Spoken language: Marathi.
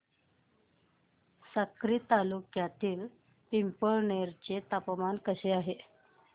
साक्री तालुक्यातील पिंपळनेर चे तापमान कसे आहे